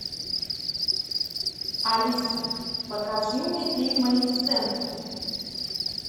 алиса покажи мне фильм малефисента